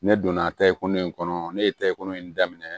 Ne donna tariku in kɔnɔ ne ye tako in daminɛ